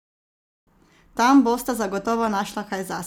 Tam bosta zagotovo našla kaj zase!